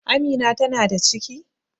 Amina ta na da ciki?